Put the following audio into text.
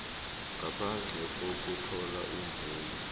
ngaphandle kokuthola imvumo